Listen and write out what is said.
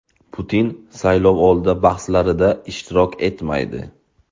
Putin saylovoldi bahslarida ishtirok etmaydi.